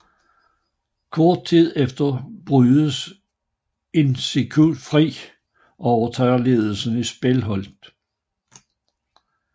Kort tid efter bryder Irenicus fri og overtager ledelsen af Spellhold